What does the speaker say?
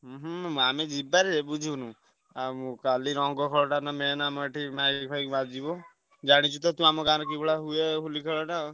ହୁଁ ହୁଁ ଆମେ ଯିବା ଯେ ବୁଝି ଆଉ ମୁଁ କାଲି ରଙ୍ଗ ଖେଳଟା main ଆମ ଏଠି mike ଫାଇକ ବାଜିବ। ଜାଣିଛୁ ତ ତୁ ଆମ ଗାଁରେ କି ଭଳିଆ ହୁଏ ହୋଲି ଖେଳଟା।